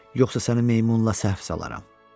Yoxsa səni meymunla səhv salaram.